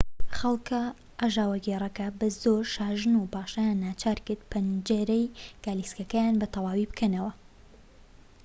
خەڵک ئاژاوەگێڕەکە بە زۆر شاژن و پاشایان ناچارکرد پەنجەرەی گالیسکەیان بە تەواوی بکەنەوە